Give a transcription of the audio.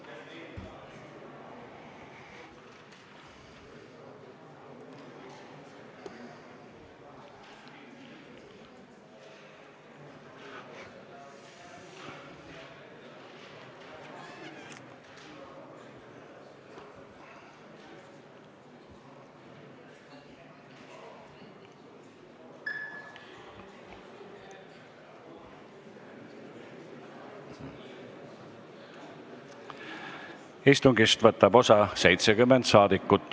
Kohaloleku kontroll Istungist võtab osa 70 rahvasaadikut.